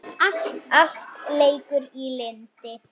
Allt leikur í lyndi.